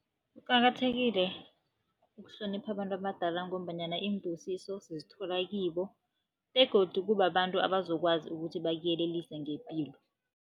Kuqakathekile ukuhlonipha abantu abadala ngombanyana iimbusiso sizithola kibo begodu kubabantu abazokwazi ukuthi bakuyelelise ngepilo.